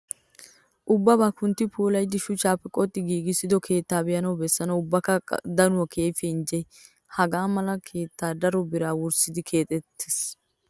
Ubbabaa kuntti puulayidi shuchaappe qoxxi hiigissido keettayi be"anawu bessanawu ubbakka qa daanawukka keehippe injje. Hagaa mala keetayi daro biraa wurssidi keexettes.